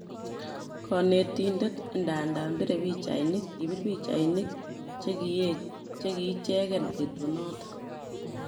Konetidet idadan bire pichainik ,kibir pichainik chekiicheken betunoton